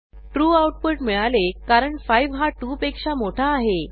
true output मिळाले कारण 5 हा 2 पेक्षा मोठा आहे